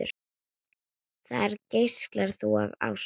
Þar geislar þú af ást.